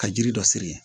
Ka jiri dɔ siri